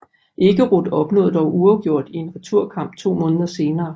Ekeroth opnåede dog uafgjort i en returkamp to måneder senere